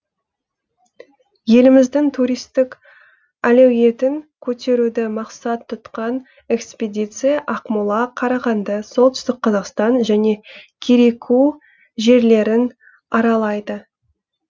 еліміздің туристік әлеуетін көтеруді мақсат тұтқан экспедиция ақмола қарағанды солтүстік қазақстан және кереку жерлерін аралайды